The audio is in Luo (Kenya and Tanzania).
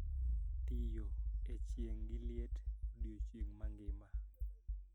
Tiyo e chieng` gi liet odiechieng mangima